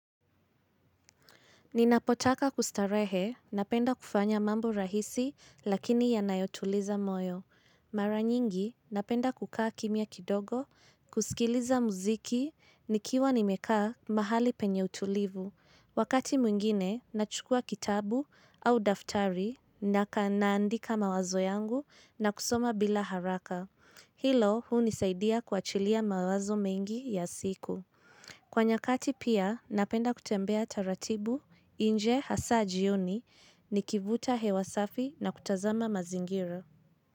Ninapotaka kustarehe, napenda kufanya mambo rahisi lakini yanayotuliza moyo. Mara nyingi, napenda kukaa kimya kidogo, kusikiliza muziki, nikiwa nimekaa mahali penye utulivu. Wakati mwingine, nachukua kitabu au daftari na naandika mawazo yangu na kusoma bila haraka. Hilo, hunisaidia kuachilia mawazo mengi ya siku. Kwa nyakati pia napenda kutembea taratibu nje hasa jioni nikivuta hewa safi na kutazama mazingira.